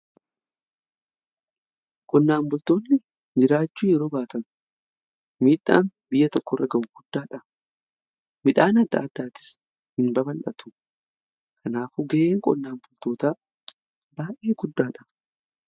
Qonnaan bultoonni jiraachuu yeroo baatan midhaan biyya tokko irra ga'u guddaadha. Midhaan adda addaatis hin baballatu kanaafu ga'een qonnaan bultoota baay'ee guddaadha.